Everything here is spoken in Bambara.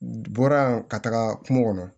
Bɔra bɔra ka taga kungo kɔnɔ